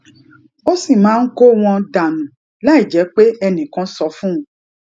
ó sì máa ń kó wọn dà nù láìjé pé ẹnì kan sọ fún un